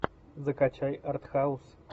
закачай артхаус